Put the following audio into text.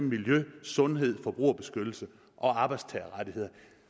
miljø sundhed forbrugerbeskyttelse og arbejdstagerrettigheder